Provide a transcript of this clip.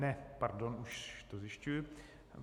Ne, pardon, už to zjišťuji.